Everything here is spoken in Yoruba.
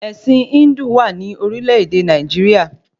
Ẹ̀sìn Híndù wà ní orílẹ̀-èdè Nàìjíríà